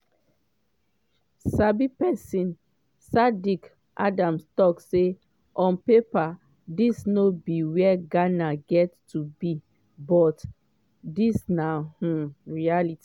sabi pesin saddick adams tok say “on paper dis no be wia ghana get to be but dis na um reality.”